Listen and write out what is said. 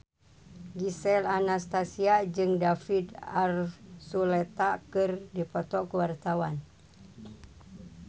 Gisel Anastasia jeung David Archuletta keur dipoto ku wartawan